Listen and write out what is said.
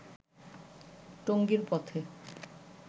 টঙ্গীর পথে